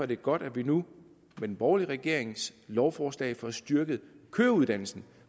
det godt at vi nu med den borgerlige regerings lovforslag får styrket køreuddannelsen